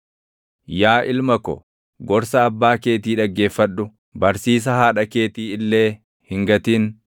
Yaa ilma ko, gorsa abbaa keetii dhaggeeffadhu; barsiisa haadha keetii illee hin gatin.